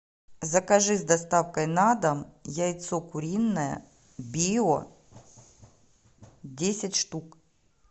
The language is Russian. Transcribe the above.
закажи с доставкой на дом яйцо куриное био десять штук